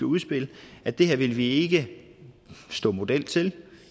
udspil at det her vil vi ikke stå model til